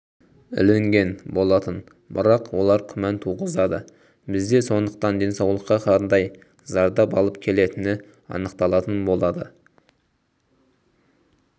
ілінген болатын бірақ олар күмән туғызады бізде сондықтан денсаулыққа қандай зардап алып келетіні анықталатын болады